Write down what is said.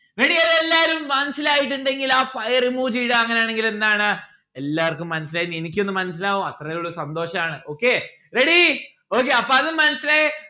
ready അല്ലെ എല്ലാരും മനസ്സിലായിട്ടുണ്ടെങ്കിൽ ആ fire emoji ഇടാ അങ്ങനെയാണെങ്കിൽ എന്താണ് എല്ലാർക്കും മനസ്സിലായിന്ന്‌ എനിക്കൊന്ന് മനസ്സിലാവൂ അത്രേ ഉള്ളു സന്തോഷാണ് okay ready okay അപ്പൊ അതും മനസ്സിലായി